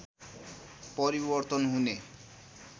परिवर्तन हुने